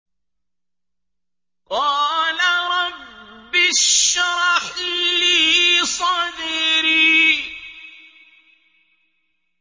قَالَ رَبِّ اشْرَحْ لِي صَدْرِي